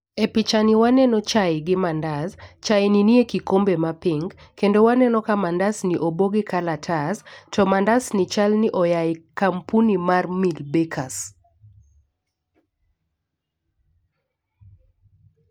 E picha ni waneno chai gi mandas . Chai ni nie kikombe ma pink kendo waneno ka mandas ni obo gi kalatas to mandas ni chal ni oaye kampuni mar Mill bakers